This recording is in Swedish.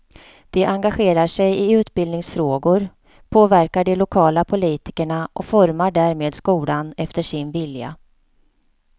De engagerar sig i utbildningsfrågor, påverkar de lokala politikerna och formar därmed skolan efter sin vilja.